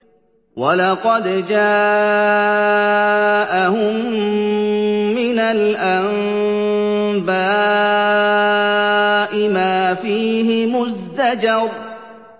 وَلَقَدْ جَاءَهُم مِّنَ الْأَنبَاءِ مَا فِيهِ مُزْدَجَرٌ